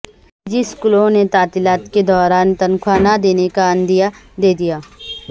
نجی اسکولوں نے تعطیلات کے دوران تنخواہ نہ دینے کا عندیہ دیدیا